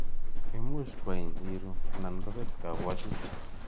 Imuchi kwain iru ana kobet kabwatutik.